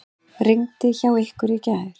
Rigndi hjá ykkur í gær?